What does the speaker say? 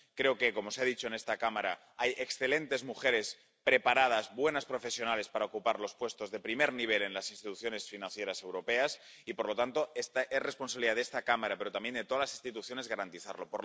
Creo que, como se ha dicho en esta Cámara, hay excelentes mujeres preparadas, buenas profesionales para ocupar los puestos de primer nivel en las instituciones financieras europeas y, por lo tanto, es responsabilidad de esta Cámara, pero también de todas las instituciones, garantizarlo.